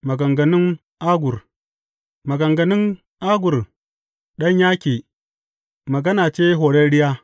Maganganun Agur Maganganun Agur ɗan Yake, magana ce horarriya.